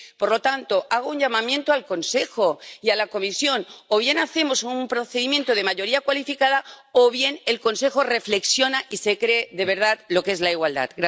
Por lo tanto, hago un llamamiento al Consejo y a la Comisión o bien hacemos un procedimiento de mayoría cualificada o bien el Consejo reflexiona y se cree de verdad lo que es la igualdad.